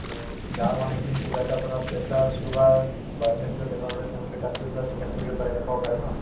to গাঁৱৰ মানুহখিনি কিবা এটা ধৰা pressure sugar বা অন্য কিবা বেমাৰ হলে তেওঁলোকে তাত গৈ পেলাই check up কৰিব পাৰে দেখুৱাব পাৰে ন